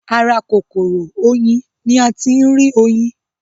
Ara kòkòrò oyin ni a ti ń rí oyin.